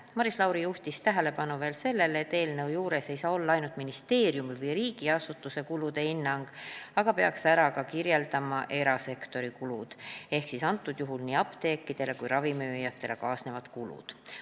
Maris Lauri juhtis tähelepanu, et eelnõu juures ei saa olla ainult ministeeriumi või riigiasutuse kulude hinnang, peaks ära kirjeldama ka erasektori kulud ehk nii apteekidele kui ka ravimimüüjatele kaasnevad kulud.